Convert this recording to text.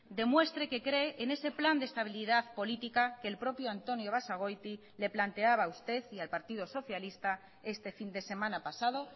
demuestre que cree en ese plan de estabilidad política que el propio antonio basagoiti le planteaba a usted y al partido socialista este fin de semana pasado